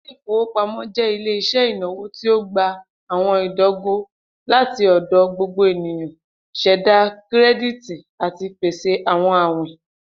Ile-ifowopamọ jẹ ile-iṣẹ inawo ti o gba awọn idogo lati ọdọ gbogbo eniyan, ṣẹda kirẹditi, ati pese awọn awin.